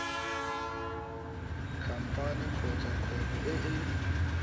khamphane kgotsa kgwebo e e